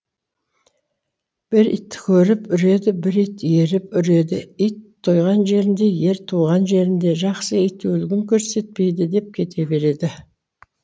бір ит көріп үреді бір ит еріп үреді ит тойған жерінде ер туған жерінде жақсы ит өлігін көрсетпейді деп кете береді